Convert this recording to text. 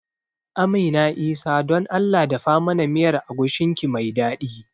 Amina Isah don Allah dafa mana miyar agushin ki mai daɗi